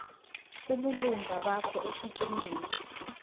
ubulunga bakho esikimini